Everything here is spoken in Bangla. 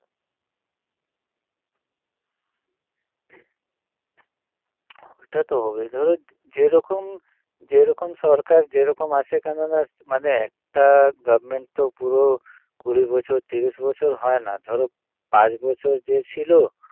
ওটা তো হবেই ধরো যেরকম যেরকম সরকার যেরকম আসে কেননা মানে একটা government তো পুরো কুড়ি বছর তিরিশ বছর হয় না ধরো পাঁচ বছর যে ছিল